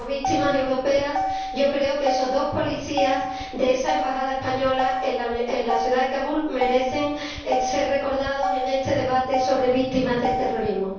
Como víctimas europeas, creo que esos dos policías de la embajada española en la ciudad de Kabul merecen ser recordados en este debate sobre víctimas del terrorismo.